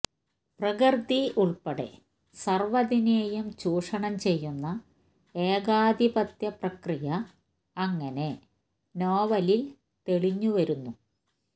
പ്രകൃതി ഉള്പ്പെടെ സര്വ്വതിനേയും ചൂഷണം ചെയ്യുന്ന ഏകാധിപത്യ പ്രക്രിയ അങ്ങനെ നോവലില് തെളിഞ്ഞുവരുന്നു